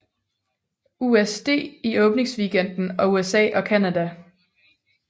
USD i åbningsweekenden i USA og Canada